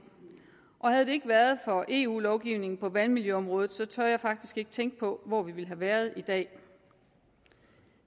og havde det ikke været for eu lovgivningen på vandmiljøområdet så tør jeg faktisk ikke tænke på hvor vi ville have været i dag